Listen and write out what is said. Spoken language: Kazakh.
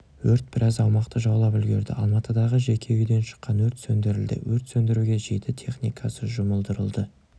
өрт біраз аумақты жаулап үлгерді алматыдағы жеке үйден шыққан өрт сөндірілді өрт сөндіруге жеті техникасы жұмылдырылды